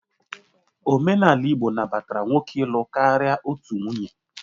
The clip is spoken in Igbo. Omenala Igbo nabatara nwoke ịlụ karịa otu nwunye